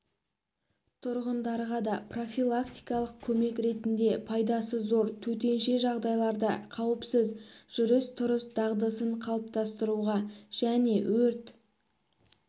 тұрғындарға да профилактикалық көмек ретінде пайдасы зор төтенше жағдайларда қауіпсіз жүріс-тұрыс дағдысын қалыптасыруға және өрт